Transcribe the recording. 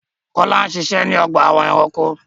Kọlà ń ṣiṣẹ̀ ni ọgba ẹ̀ránkò